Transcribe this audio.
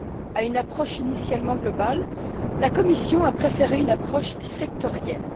À une approche initialement globale, la Commission a préféré une approche sectorielle.